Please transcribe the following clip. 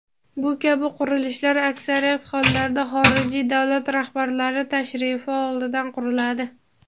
Bu kabi qurilishlar aksariyat hollarda xorijiy davlat rahbarlari tashrifi oldidan quriladi.